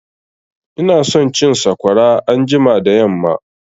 Ina son cin sakwara anjima da yamma